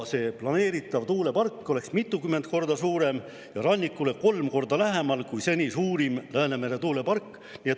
See planeeritav tuulepark oleks mitukümmend korda suurem ja rannikule kolm korda lähemal kui seni suurim Läänemere tuulepark.